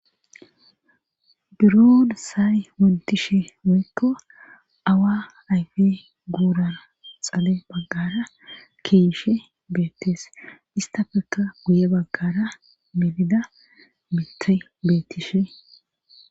Duron say wontishe woykko awa ayfe guura xale baggara keishe beettees istafeka guye baggara melida mitey beettishe.